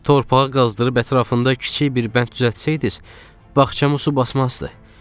"Torpağı qazdırıb ətrafında kiçik bir bənd düzəltsəydiz, bağçamı su basmazdı.